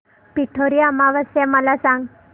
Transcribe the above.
पिठोरी अमावस्या मला सांग